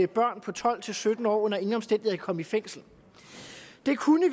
børn på tolv til sytten år under ingen omstændigheder kan komme i fængsel vi kunne